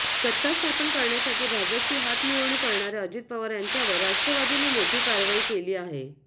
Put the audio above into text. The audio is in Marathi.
सत्ता स्थापन करण्यासाठी भाजपशी हातमिळवणी करणाऱ्या अजित पवार यांच्यावर राष्ट्रवादीने मोठी कारवाई केली आहे